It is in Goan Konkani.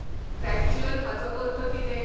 टॅक्चुअल हाचो अर्थ कितें?